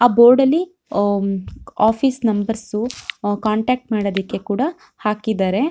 ಆ ಬೋರ್ಡ್ ಲಿ uh office numbers contact ಮಾಡೋದಕ್ಕೆ ಕೂಡ ಹಾಕಿದ್ದಾರೆ .